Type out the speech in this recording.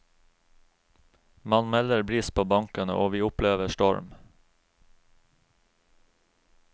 Man melder bris på bankene, og vi opplever storm.